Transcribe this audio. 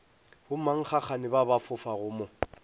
bommankgagane ba ba fofago mo